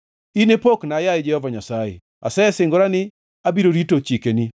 In e pokna, yaye Jehova Nyasaye; asesingora ni abiro rito chikeni.